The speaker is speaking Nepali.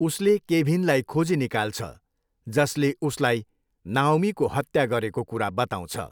उसले केभिनलाई खोजी निकाल्छ जसले उसलाई नाओमीको हत्या गरेको कुरा बताउँछ।